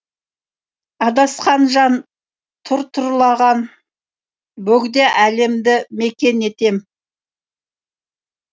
адасқан жан тұр тұрлаған бөгде әлемді мекен етем